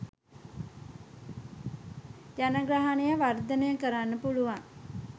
ජනගහනය වර්ධනය කරන්න පුළුවන්